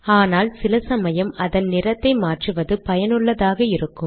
ஆனால் சில சமயம் அதன் நிறத்தை மாற்றுவது பயனுள்ளதாக இருக்கும்